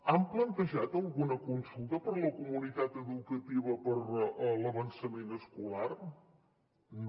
han plantejat alguna consulta per a la comunitat educativa per l’avançament escolar no